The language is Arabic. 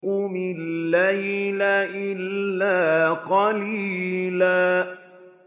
قُمِ اللَّيْلَ إِلَّا قَلِيلًا